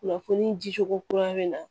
Kunnafoni di cogo kura bɛ na